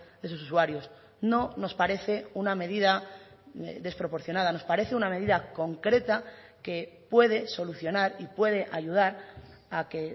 de sus usuarios no nos parece una medida desproporcionada nos parece una medida concreta que puede solucionar y puede ayudar a que